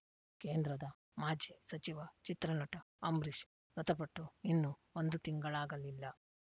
ಕೇಂದ್ರದ ಮಾಜಿ ಸಚಿವ ಚಿತ್ರನಟ ಅಂಬರೀಷ್ ಮೃತಪಟ್ಟು ಇನ್ನು ಒಂದು ತಿಂಗಳಾಗಲಿಲ್ಲ